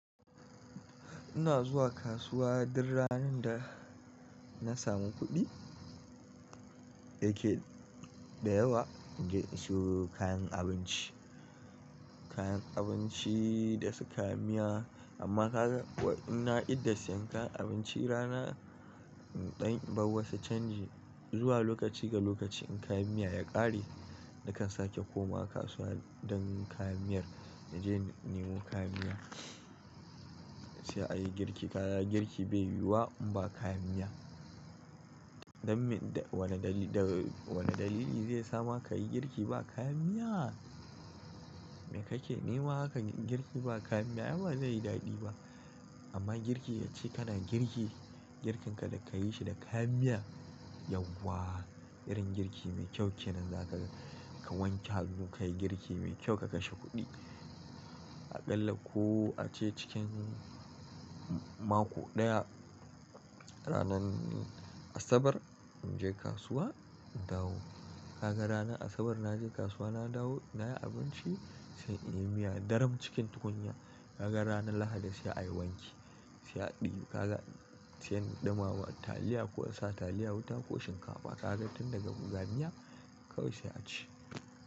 Ina zuwa kasuwa duk ranar da na samu kuɗi da yawa in je in siyo kayan abinci. Kayan abinci da suka yi miya amma ka ga in na idda, siyan kayan abinci rana ɗayan, bawwasa canji zuwa lokaci ga lokaci in kayan miya ya ƙare nakan sake komawa kasuwa don kayan miyar in je in nemo kayan miya. Sai a yi girki, kaya girki bai yiwuwa in ba kayan miya. Dan me wani dalili zai sama kayi girki ba kayan miya. Me kake nema aka yi girki ba kayan miya? Ai ba zai yi daɗi ba amma girki ace kana girki, girkin ka da ka yi shi da kayan miya yauwa irin girki mai kyau kenan za ka wanke hannu ka yi girki mai kyau ka kashe kuɗi. Aƙalla ko ace cikin mako ɗaya ranan Asabar in je kasuwa in dawo. Ka ga ranan Asabar na je kasuwa na dawo, na yi abinci sai in yi miya. Daran cikin tukunya ka ga ranan Lahadi sai a yi wanki, sai a ɗiyu, ka ga sai an ɗumama taliya ko a sa taliya wuta ko shinkafa. Ka ga tun daga buzaniya kawai sai a ci.